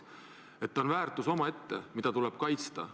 See on väärtus omaette, mida tuleb kaitsta.